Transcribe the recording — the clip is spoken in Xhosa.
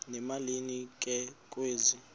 emalini ke kwezi